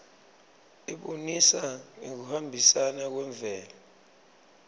ibonisa ngekuhambisana kwemvelo